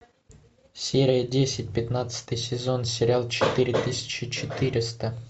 серия десять пятнадцатый сезон сериал четыре тысячи четыреста